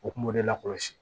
O kun b'o de la kɔlɔsi